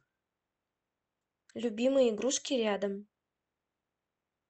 любимые игрушки рядом